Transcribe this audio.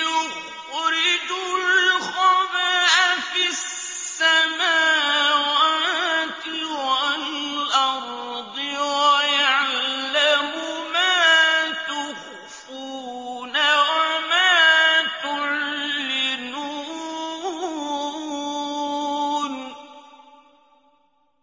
يُخْرِجُ الْخَبْءَ فِي السَّمَاوَاتِ وَالْأَرْضِ وَيَعْلَمُ مَا تُخْفُونَ وَمَا تُعْلِنُونَ